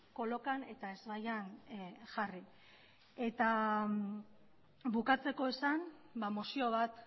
kolokan eta ezbaian jarri bukatzeko esan mozio bat